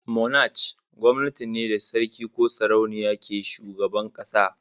"Monarch" gwamnati ce da sarki ko sarauniya ke shugaban kasa.